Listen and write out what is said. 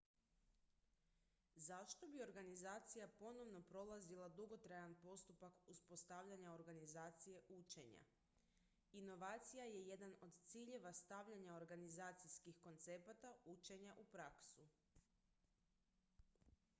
zašto bi organizacija ponovno prolazila dugotrajan postupak uspostavljanja organizacije učenja inovacija je jedan od ciljeva stavljanja organizacijskih koncepata učenja u praksu